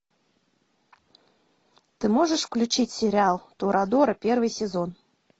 ты можешь включить сериал торадора первый сезон